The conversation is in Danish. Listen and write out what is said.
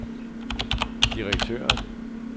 direktøren